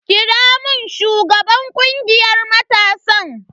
Kira mun shugaban kungiyar matasan.